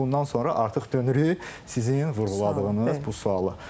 Bundan sonra artıq dönürük sizin vurğuladığınız bu suala.